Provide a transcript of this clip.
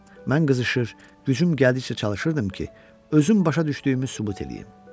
Mən qızışır, gücüm gəldikcə çalışırdım ki, özüm başa düşdüyümü sübut eləyim.